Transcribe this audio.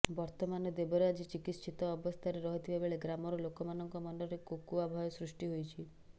ବର୍ତ୍ତମାନ ଦେବରାଜ ଚିକିତ୍ସିତ ଅବସ୍ଥାରେ ରହିଥିବା ବେଳେ ଗ୍ରାମର ଲୋକମାନଙ୍କ ମନରେ କୋକୁଆ ଭୟ ସୃଷ୍ଟି ହୋଇଛି